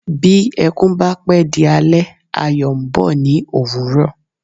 Bí ẹkún bá pé di alẹ́, ayọ̀ ń bọ̀ ní ÒWÚRỌ̀.